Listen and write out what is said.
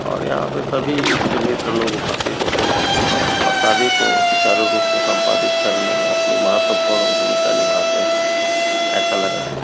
और यहाँ पर सभी ईस्ट मित्र लोग उपस्थित होते हैं और शादी को सुचारू रुप से संपादित करने में अपनी महत्वपूर्ण भूमिका निभाते हैं ऐसा लग रहा हैं।